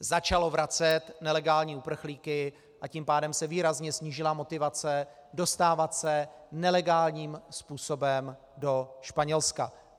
Začalo vracet nelegální uprchlíky, a tím pádem se výrazně snížila motivace dostávat se nelegálním způsobem do Španělska.